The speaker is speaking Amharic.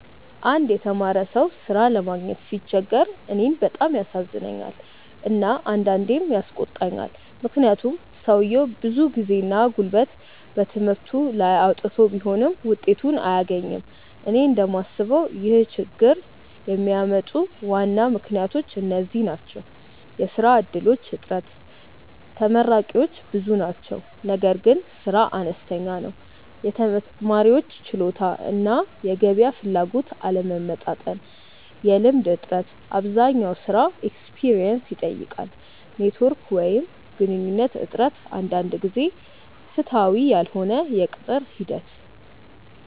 አንድ የተማረ ሰው ሥራ ለማግኘት ሲቸገር እኔን በጣም ያሳዝነኛል እና አንዳንዴም ያስቆጣኛል፤ ምክንያቱም ሰውየው ብዙ ጊዜና ጉልበት በትምህርቱ ላይ አውጥቶ ቢሆንም ውጤቱን አያገኝም። እኔ እንደምስበው ይህን ችግኝ የሚያመጡ ዋና ምክንያቶች እነዚህ ናቸው፦ የሥራ እድሎች እጥረት (ተመራቂዎች ብዙ ናቸው ነገር ግን ሥራ አነስተኛ ነው) የተማሪዎች ችሎታ እና የገበያ ፍላጎት አለመመጣጠን የልምድ እጥረት (አብዛኛው ሥራ “experience” ይጠይቃል) ኔትዎርክ ወይም ግንኙነት እጥረት አንዳንድ ጊዜ ፍትሃዊ ያልሆነ የቅጥር ሂደት